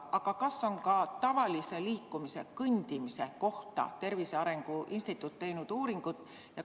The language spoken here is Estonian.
Aga kas ka tavalise liikumise, kõndimise kohta on Tervise Arengu Instituut uuringut teinud?